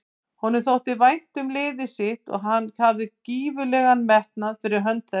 Honum þótti vænt um liðið sitt og hann hafði gífurlegan metnað fyrir hönd þess.